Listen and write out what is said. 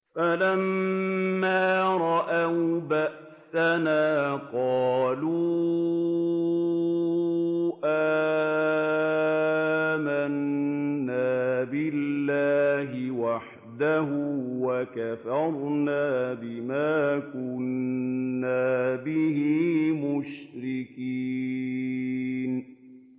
فَلَمَّا رَأَوْا بَأْسَنَا قَالُوا آمَنَّا بِاللَّهِ وَحْدَهُ وَكَفَرْنَا بِمَا كُنَّا بِهِ مُشْرِكِينَ